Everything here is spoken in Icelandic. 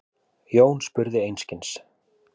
Jón spurði einskis.